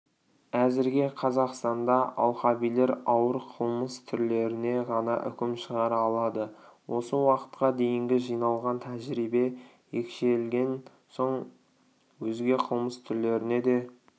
әзірге қазақстанда алқабилер ауыр қылмыс түрлеріне ғана үкім шығара алады осы уақытқа дейінгі жиналған тәжірибе екшелген соң өзге қылмыс түрлеріне де